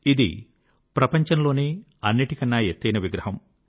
ఇది ప్రపంచంలోనే అన్నిటికన్నా ఎత్తైన విగ్రహం